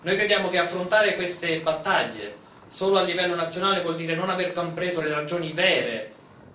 Noi crediamo che affrontare queste battaglie solo a livello nazionale voglia dire non aver compreso le ragioni vere